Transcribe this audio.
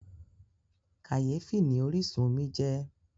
Kàyéfì ni orísun omi jẹ́.